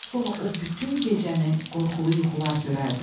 Sonra o bütün gecəni qorxulu yuxular görərdi.